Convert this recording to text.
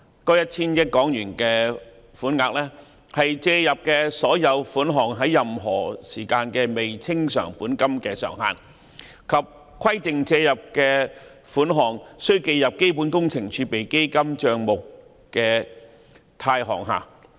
該 1,000 億港元的款額是借入的所有款項在任何時間的未清償本金的上限，而規定借入的款額須記入基本工程儲備基金帳目的貸項下。